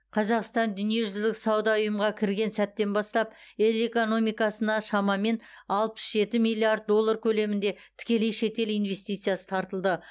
қазақстан дүниежүзілік сауда ұйымға кірген сәттен бастап ел экономикасына шамамен алпыс жеті миллиард доллар көлемінде тікелей шетел инвестициясы тартылды